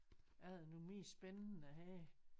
Er der noget mere spændende her